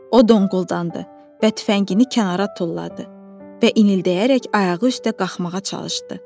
O donquldandı və tüfəngini kənara tulladı və inildəyərək ayağı üstə qalxmağa çalışdı.